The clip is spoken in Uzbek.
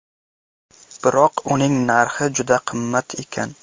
Biroq uning narxi juda qimmat ekan.